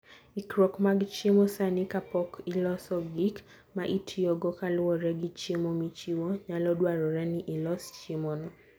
Ikruok mag chiemo sani kapok iloso gik ma itiyogo kaluwore gi chiemo michiwo, nyalo dwarore ni ilos chiemono.